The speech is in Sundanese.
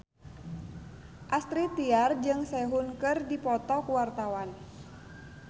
Astrid Tiar jeung Sehun keur dipoto ku wartawan